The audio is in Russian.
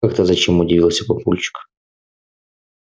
как это зачем удивился папульчик